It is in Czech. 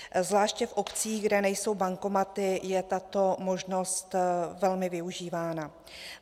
Zvláště v obcích, kde nejsou bankomaty, je tato možnost velmi využívána.